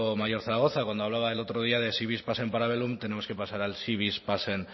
mayor zaragoza cuando hablaba el otro día de si vis pacem para bellum tenemos que pasar al si vis pacem